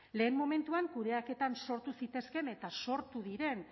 lehen momentuan kudeaketan sortu zitezkeen eta sortu diren